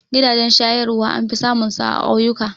Gidajen shayarwa an fi samun su a ƙauyuka